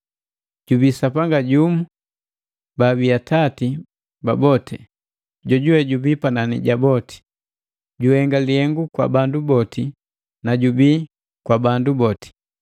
Jubii Sapanga jumu baabi Atati ba boti, jojuwe jubii panani ja boti, juhenga lihengu kwa bandu boti na jubii kwa bandu boti.